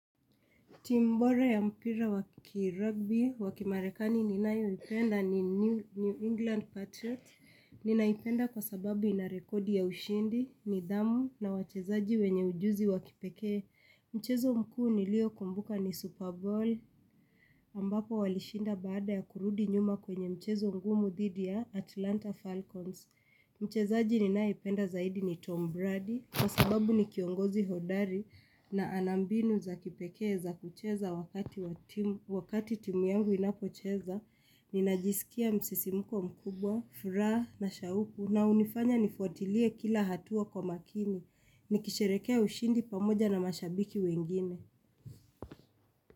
Timu bora ya mpira wakirugbi wa kimarekani ninayoipenda ni New England Patriots. Ninaipenda kwa sababu inarekodi ya ushindi nidhamu na wachezaji wenye ujuzi wakipekee. Mchezo mkuu niliokumbuka ni Super Bowl ambapo walishinda baada ya kurudi nyuma kwenye mchezo mgumu dhidi ya Atlanta Falcons. Mchezaji ninayependa zaidi ni Tom Brady Kwa sababu ni kiongozi hodari na ana mbinu za kipekee za kucheza wakati timu yangu inapocheza Ninajisikia msisimuko mkubwa, furaha na shauku na hunifanya nifuatilie kila hatua kwa makini Nikisherehekea ushindi pamoja na mashabiki wengine.